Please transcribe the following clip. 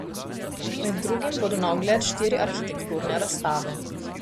Med drugim bodo na ogled štiri arhitekturne razstave.